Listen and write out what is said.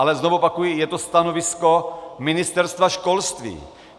Ale znovu opakuji, je to stanovisko Ministerstva školství.